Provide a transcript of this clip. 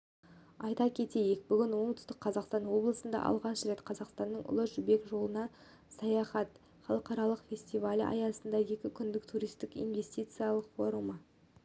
айта кетейік бүгін оңтүстік қазақстан облысында алғаш рет қазақстанның ұлы жібек жолына саяхат халықаралық фестивалі аясында екі күндік туристік инвестициялық форумы